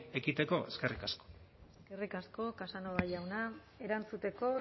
ekiditeko eskerrik asko eskerrik asko casanova jauna erantzuteko